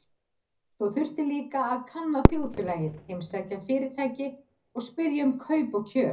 Svo þurfti líka að kanna þjóðfélagið, heimsækja fyrirtæki og spyrja um kaup og kjör.